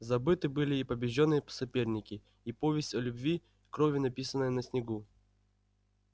забыты были и побеждённые соперники и повесть о любви кровью написанная на снегу